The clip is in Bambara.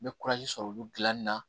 N bɛ sɔrɔ olu dilanni na